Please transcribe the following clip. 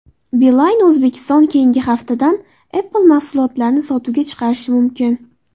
Beeline Uzbekistan keyingi haftadan Apple mahsulotlarini sotuvga chiqarishi mumkin.